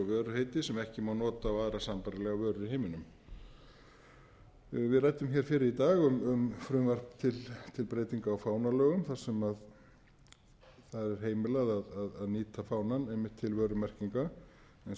vöruheiti sem ekki má nota á aðrar sambærilegar vörur í heiminum við ræddum hér fyrr í dag um frumvarp til breytinga á fánalögum þar sem það er heimilað að nýta fánann einmitt til vörumerki eins og